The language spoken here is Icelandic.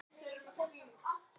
spurði Haraldur með andköfum.